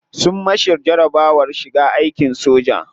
Sun masa jarabawar shiga aikin soja.